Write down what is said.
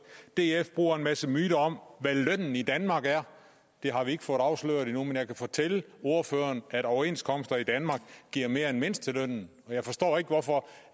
df bruger en masse myter om hvad lønnen i danmark er det har vi ikke fået afsløret endnu men jeg kan fortælle ordføreren at overenskomster i danmark giver mere end mindstelønnen og jeg forstår ikke hvorfor